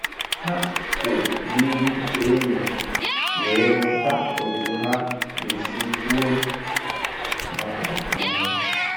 Ha kwụ n'ihu enyo wee mụta otu ha ga-esi kwuo maka onwe ha